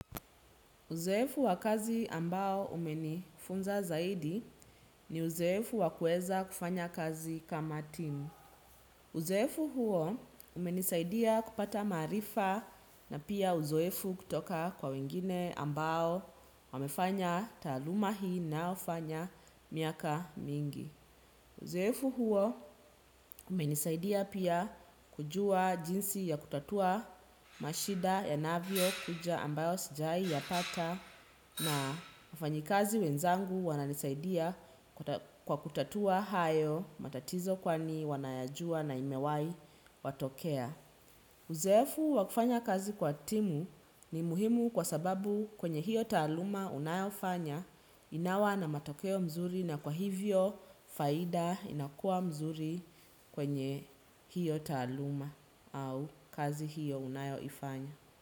Uzoefu wa kazi ambao umenifunza zaidi ni uzoefu wa kueza kufanya kazi kama timu. Uzefu huo umenisaidia kupata maarifa na pia uzoefu kutoka kwa wengine ambao wamefanya taaluma hii ninayofanya miaka mingi. Uzoefu huo umenisaidia pia kujua jinsi ya kutatua mashida yanavyo kuja ambayo sijai yapata na wafanyikazi wenzangu wananisaidia kwa kutatua hayo matatizo kwani wanayajua na imewahi watokea. Uzoefu wa kufanya kazi kwa timu ni muhimu kwa sababu kwenye hiyo taaluma unayofanya inawa na matokeo mzuri na kwa hivyo faida inakua mzuri kwenye hiyo taaluma au kazi hiyo unayoifanya.